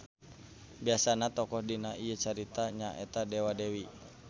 Biasana tokoh dina ieu carita nya eta dewa-dewi.